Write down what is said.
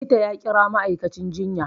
Likita ya kira ma'aikacin jiya